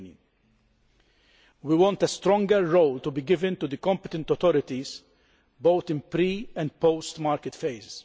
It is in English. and we want a stronger role to be given to competent authorities, both in pre and post market phases.